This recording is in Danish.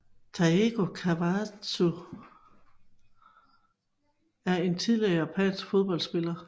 Taeko Kawakatsu er en tidligere japansk fodboldspiller